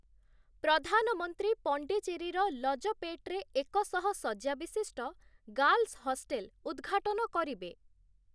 ପ୍ରଧାନମନ୍ତ୍ରୀ ପଣ୍ଡିଚେରୀର ଲଜପେଟରେ ଏକଶହଶଯ୍ୟା ବିଶିଷ୍ଟ ଗାର୍ଲସ ହଷ୍ଟେଲ ଉଦ୍‌ଘାଟନ କରିବେ ।